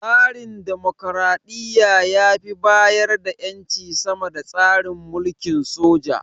Tsarin dimokuraɗiyya ya fi bayar da ƴanci sama da tsarin mulkin soja.